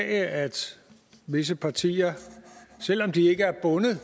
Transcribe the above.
at visse partier selv om de ikke er bundet